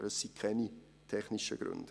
Aber das sind keine technischen Gründe.